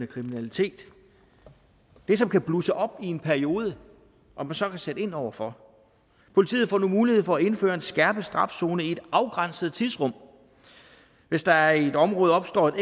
kriminalitet det som kan blusse op i en periode og man så kan sætte ind over for politiet får mulighed for at indføre en skærpet straf zone i et afgrænset tidsrum hvis der i et område opstår et